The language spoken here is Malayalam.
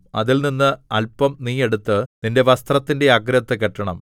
അതിൽനിന്ന് അല്പം നീ എടുത്ത് നിന്റെ വസ്ത്രത്തിന്റെ അഗ്രത്തു കെട്ടണം